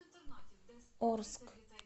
орск